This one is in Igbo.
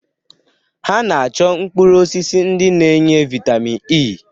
Ha na-achọ mkpụrụ osisi ndi na-enye vaịtamin E.